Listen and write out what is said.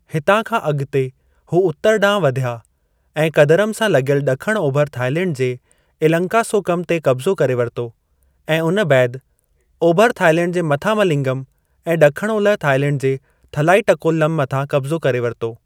हितां खां अगि॒ते हू उत्तर डां॒हु वधिया ऐं कदरम सां लगि॒यलु ड॒खण ओभर थाईलैंड जे इलंकासोकम ते कब्ज़ो करे वरितो ऐं उन बैदि ओभर थाईलैंड जे मथामलिंगम ऐं ड॒खण ओलह थाईलैंड जे थलाईटक्कोलम मथां कब्ज़ो करे वरितो।